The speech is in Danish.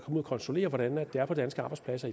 ud og kontrollere hvordan det er på danske arbejdspladser